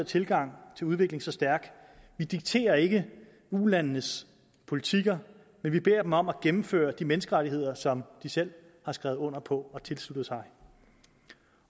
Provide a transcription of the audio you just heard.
tilgang til udvikling så stærk vi dikterer ikke eu landenes politikker men vi beder dem om at indføre de menneskerettigheder som de selv har skrevet under på og tilsluttet sig